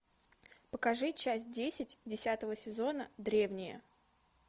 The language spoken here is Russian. покажи часть десять десятого сезона древние